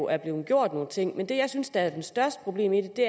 er blevet gjort nogle ting men det jeg synes er det største problem i det